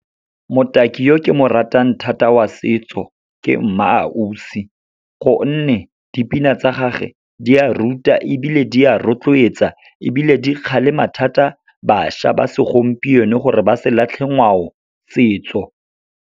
Motaki yo ke mo ratang thata wa setso ke MmaAusi, gonne dipina tsa gage di a ruta ebile di a rotloetsa, ebile di kgalema thata bašwa ba segompieno gore ba se latlhe ngwao, setso.